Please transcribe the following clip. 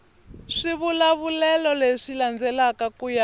swivulavulelo leswi landzelaka ku ya